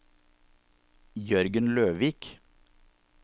Jørgen Løvik